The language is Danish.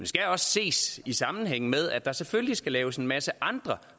skal også ses i sammenhæng med at der selvfølgelig skal laves en masse andre